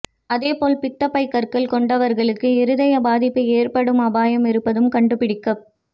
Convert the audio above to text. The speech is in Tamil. அதேபோல் பித்தப்பை கற்கள் கொண்டவர்களுக்கு இதய பாதிப்பு ஏற்படும் அபாயம் இருப்பதும் கண்டுபிடிக்கப்